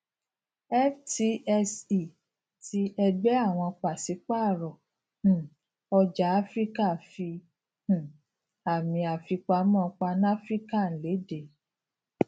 ftse àti ẹgbẹ àwọn pasipaaro um ọjà afiríka fi um àmì àfipamọ panafrican lede